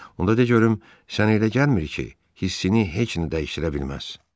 Onda de görüm, sənə elə gəlmir ki, hissini heç nə dəyişdirə bilməz?